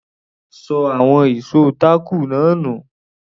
Ó ṣọ àwọn ìṣó táàkù náà nù.